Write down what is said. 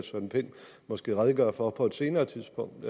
måske redegøre for det på et senere tidspunkt